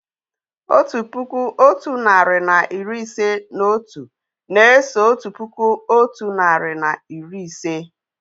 Otu puku, otu narị na iri ise na otu na-eso otu puku otu nari na iri ise